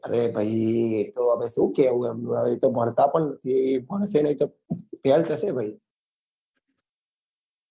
અરે ભાઈ એ તો શું કેવું એમનું હવે એ તો ભણતા પણ નથી ભણશે નહિ તો fail થશે ભાઈ